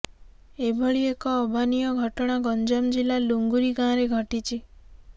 ଏଭଳି ଏକ ଅଭାନୀୟ ଘଟଣା ଗଞ୍ଜାମ ଜିଲ୍ଲା ଲୁଙ୍ଗୁରି ଗାଁରେ ଘଟିଛି